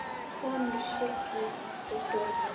Konur signdu sig.